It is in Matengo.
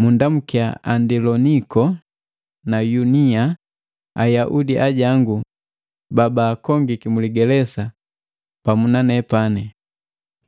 Munndamukia Andiloniko na Yunia, Ayaudi ajangu babaakongiki mu ligelesa pamu na nepani,